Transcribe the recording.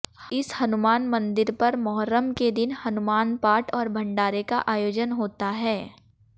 इस हनुमान मंदिर पर मोहर्रम के दिन हनुमान पाठ और भंडारे का आयोजन होता है